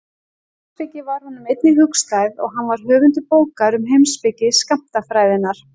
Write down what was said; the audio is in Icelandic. Heimspeki var honum einnig hugstæð og hann var höfundur bókar um heimspeki skammtafræðinnar.